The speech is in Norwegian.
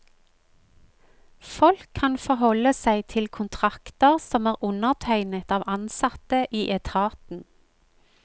Folk kan forholde seg til kontrakter som er undertegnet av ansatte i etaten.